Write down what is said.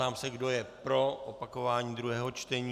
Ptám se, kdo je pro opakování druhého čtení.